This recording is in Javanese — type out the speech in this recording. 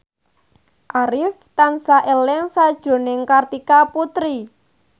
Arif tansah eling sakjroning Kartika Putri